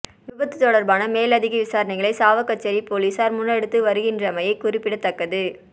விபத்து தொடர்பான மேலதிக விசாரணைகளை சாவகச்சேரி பொலிஸார் முன்னெடுத்து வருகின்றமை குறிப்பிடத்தக்கது